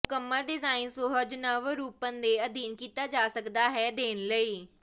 ਮੁਕੰਮਲ ਡਿਜ਼ਾਇਨ ਸੁਹਜ ਨਵਰੂਪਨ ਦੇ ਅਧੀਨ ਕੀਤਾ ਜਾ ਸਕਦਾ ਹੈ ਦੇਣ ਲਈ